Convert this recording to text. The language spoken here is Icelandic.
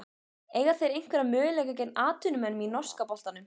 Eiga þeir einhverja möguleika gegn atvinnumönnunum í norska boltanum?